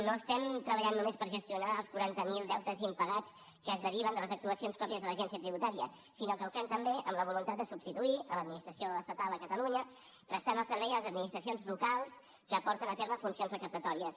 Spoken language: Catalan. no estem treballant només per gestionar els quaranta mil deutes impagats que es deriven de les actuacions pròpies de l’agència tributària sinó que ho fem també amb la voluntat de substituir l’administració estatal a catalunya prestant el servei a les administracions locals que porten a terme funcions recaptatòries